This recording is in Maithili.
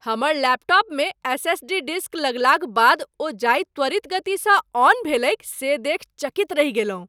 हमर लैपटॉपमे एस.एस.डी. डिस्क लगलाक बाद ओ जाहि त्वरित गतिसँ ऑन भेलैक से देखि चकित रहि गेलहुँ।